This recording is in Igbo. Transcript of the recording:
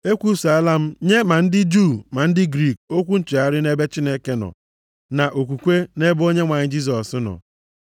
E kwusaala m nye ma ndị Juu ma ndị Griik okwu nchegharị nʼebe Chineke nọ, na okwukwe nʼebe Onyenwe anyị Jisọs nọ.